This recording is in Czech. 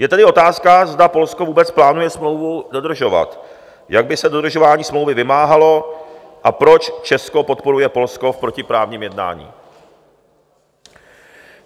Je tedy otázka, zda Polsko vůbec plánuje smlouvu dodržovat, jak by se dodržování smlouvy vymáhalo a proč Česko podporuje Polsko v protiprávním jednání.